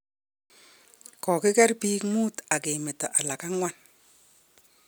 Kogiker biik muut ak ke meto alak ang'wan